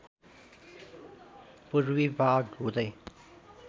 पूर्वी भाग हुँदै